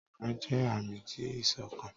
Awọn oruka jẹ aami ti iṣọkan